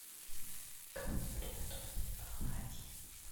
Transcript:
как приготовить оладьи